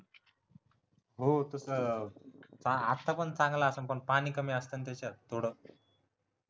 हो तस आत्ता पण चांगलं आसलं पण पाणी पण कमी असत ना त्याच्यात थोडं